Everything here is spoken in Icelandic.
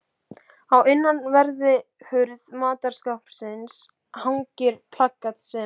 Á innanverðri hurð matarskápsins hangir plakat sem